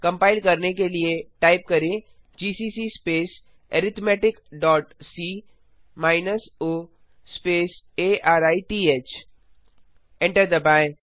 compile करने के लिए टाइप करें GCC space arithmetic dot C minus O space arith enter दबाएँ